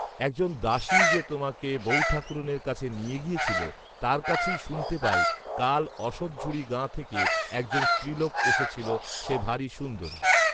একজন দাসী যে তোমাকে বৌঠাকরুনের কাছে নিয়ে গিয়েছিল, তার কাছেই শুনতে পাই, কাল অশথঝুরি গাঁ থেকে একজন স্ত্রীলোক এসেছিল, সে ভারী সুন্দরী